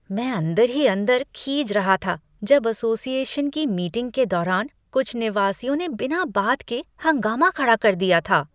मैं अंदर ही अंदर खीज रहा था जब असोसिएशन की मीटिंग के दौरान कुछ निवासियों ने बिना बात के हंगामा खड़ा कर दिया था।